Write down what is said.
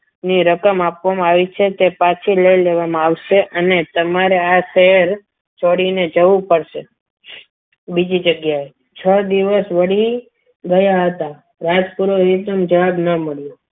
ની રકમ આપવામાં આવી છે તે પાછી લઈ લેવામાં આવશે અને તમારે આ શહેર છોડીને જવું પડશે બીજી જગ્યાએ છ દિવસ વળી ગયા હતા રાજપુર ને જવાબ ના મળ્યો.